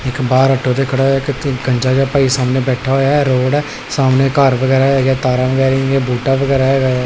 ਬਾਹਰ ਆਟੋ ਤੇ ਖੜਾ ਕਿਥੇ ਗੰਜਾ ਜਿਹਾ ਭਾਈ ਸਾਹਮਣੇ ਬੈਠਾ ਹੋਇਆ ਰੋਡ ਹ ਸਾਹਮਣੇ ਘਰ ਵਗੈਰਾ ਹੈਗਾ ਤਾਰਾਂ ਵਗੈਰਾ ਬੂਟਾ ਵਗੈਰਾ ਹੈਗਾ ਆ।